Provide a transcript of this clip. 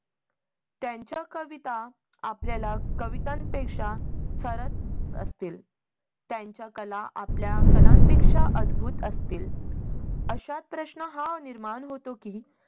त्यांच्या कविता आपल्याला कविता पेक्षा सरस असतील. त्यांच्या कला आपल्या कलांपेक्षा अद्भुत असतील. अशात प्रश्न हा निर्माण होतो की